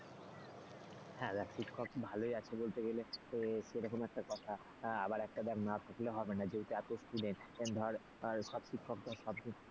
হ্যাঁ দেখ শিক্ষক ভালোই আছে বলতে গেলে সেরকম একটা কথা। আবার একটা দেখ না থাকলে হবে না এই যে এত student ধর সব শিক্ষকদের সব,